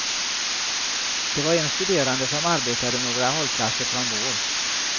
Det var en studerande som arbetade några hållplatser från vår.